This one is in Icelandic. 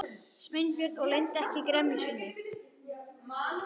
Sveinbjörn og leyndi ekki gremju sinni.